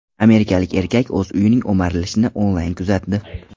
Amerikalik erkak o‘z uyining o‘marilishini onlayn kuzatdi.